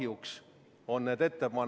Juhtivkomisjoni seisukoht on jätta arvestamata.